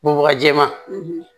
Bubaga jɛman